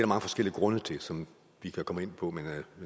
mange forskellige grunde til som vi kan komme ind på men